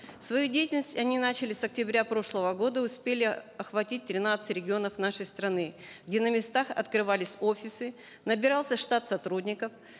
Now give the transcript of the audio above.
свою деятельность они начали с октября прошлого года успели охватить тринадцать регионов нашей страны где на местах открывались офисы набирался штат сотрудников